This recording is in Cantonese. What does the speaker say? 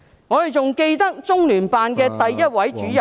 我們還記得，中聯辦首位主任......